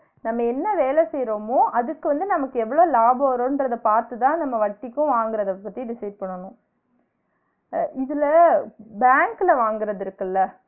நம்ம என்ன வேல செய்ரமோ அதுக்கு வந்து நமக்கு எவ்ளோ லாபம் வரும்ன்றத பாத்துதான் நம்ம வட்டிக்கும் வாங்குறத பத்தி Decide பண்ணனும் அஹ் இதுல bank ல வாங்குறது இருக்குல